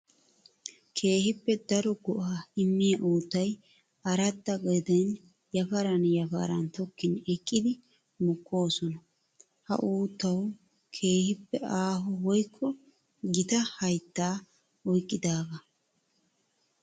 Keehippe daro go'aa immiya uuttay aradda gaden yafaran yafaran tokkin eqqiddi mokosonna. Ha uuttawu keehippe aaho woykko gita haytta oyqqidaga.